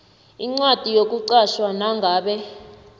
incwadi yokuqatjhwa nangabe